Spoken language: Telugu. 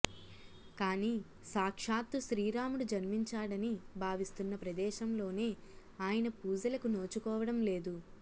కాని సాక్షాత్తూ శ్రీరాముడు జన్మించాడని భావిస్తున్న ప్రదేశంలోనే ఆయన పూజలకు నోచుకోవడంలేదు